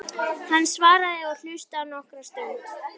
Hann svaraði og hlustaði nokkra stund.